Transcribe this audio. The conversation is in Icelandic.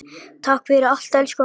Takk fyrir allt, elsku afi.